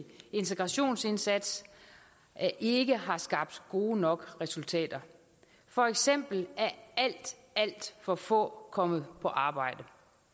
integrationsindsats ikke har skabt gode nok resultater for eksempel er alt alt for få kommet i arbejde